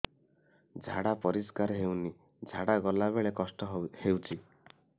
ଝାଡା ପରିସ୍କାର ହେଉନି ଝାଡ଼ା ଗଲା ବେଳେ କଷ୍ଟ ହେଉଚି